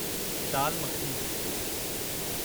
दाल मखनी